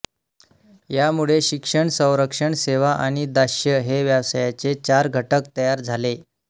यामुळे शिक्षण संरक्षण सेवा आणि दास्य हे व्यवसायाचे चार घटक तयार झाले